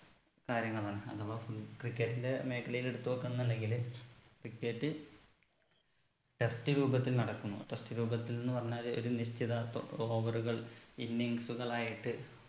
കാര്യങ്ങളാണ് അതവാ full cricket ന്റെ മേഖലയിൽ എടുത്ത് നോക്കന്നുണ്ടെങ്കില് cricket test രൂപത്തിൽ നടക്കുന്നു test രൂപത്തിൽന്ന് പറഞ്ഞാല് ഒരു നിശ്ചിതാർത്ഥ over കൾ innings ഉകളായിട്ട്